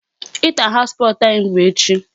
Inter house sports anyị bụ echi.